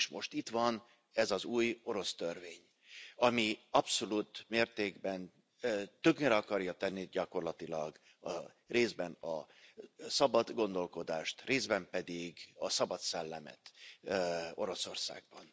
És most itt van ez az új orosz törvény, ami abszolút mértékben tönkre akarja tenni gyakorlatilag részben a szabad gondolkodást, részben pedig a szabad szellemet Oroszországban.